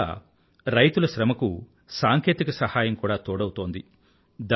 ఇవాళ రైతుల శ్రమకు సాంకేతిక సహాయం కూడా తోడౌతోంది